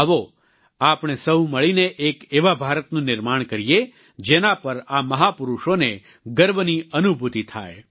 આવો આપણે સહુ મળીને એક એવા ભારતનું નિર્માણ કરીએ જેના પર આ મહાપુરુષોને ગર્વની અનુભૂતિ થાય